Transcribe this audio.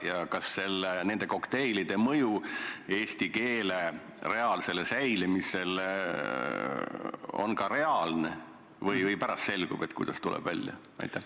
Ja kas nende kokteilide mõju eesti keele reaalsele säilimisele on ka reaalne või alles pärast selgub, kuidas välja tuleb?